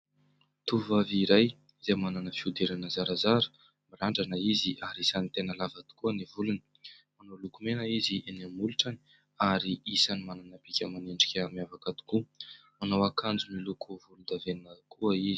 Tovovavy iray izay manana fihodirana zarazara. Mirandrana izy ary isany tena lava tokoa ny volony. Manao lokomena izy eny amin'ny molotrany ary isany manana bika aman'endrika miavaka tokoa. Manao akanjo miloko volondavenona koa izy.